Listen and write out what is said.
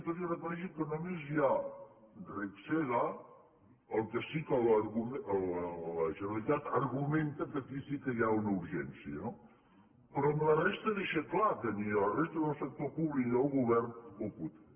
tot i que reconeixen que només hi ha regsega el que sí que la generalitat argumenta és que aquí sí que hi ha una urgència no però en la resta deixa clar que ni en la resta del sector públic ni del govern ho pot fer